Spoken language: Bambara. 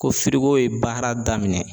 Ko ko ye baara daminɛ